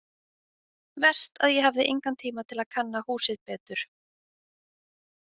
Verst að ég hafði engan tíma til að kanna húsið betur.